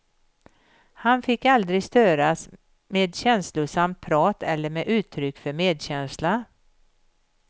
Han fick aldrig störas med känslosamt prat eller med uttryck för medkänsla.